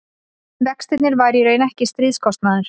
vextirnir væru í raun ekki stríðskostnaður